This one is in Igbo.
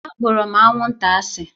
Akpọrọ m anwụnta asị